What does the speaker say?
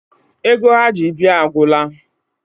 Ego ha ji bịa agwụla.